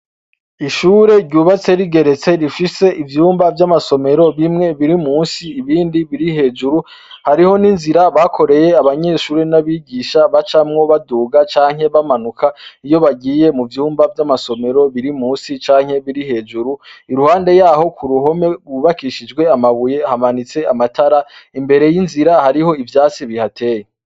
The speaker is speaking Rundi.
Ishure ryubatse rigeretse rifise ivyumba vy'amasomero bimwe biri musi ibindi biri hejuru hariho n'inzira bakoreye abanyeshuri n'abigisha ba camwo baduga canke bamanuka iyo bagiye mu vyumba vy'amasomero biri musi canke biri hejuru iruhande yaho ku ruhome rwubakishijwe amabuye hamanitse amatara imbere y'inzira hariho ivyatsi bihateye.